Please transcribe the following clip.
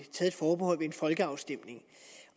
folkeafstemning